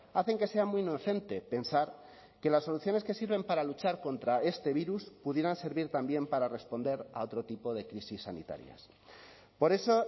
hacen que sea muy inocente pensar que las soluciones que sirven para luchar contra este virus pudieran servir también para responder a otro tipo de crisis sanitarias por eso